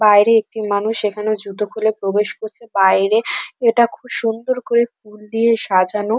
বাইরে একটি মানুষ এখানে জুতো খুলে প্রবেশ করছে বাইরে এটা খুব সুন্দর করে ফুল দিয়ে সাজানো।